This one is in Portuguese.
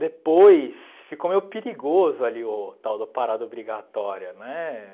Depois, ficou meio perigoso ali o tal da parada obrigatória, né?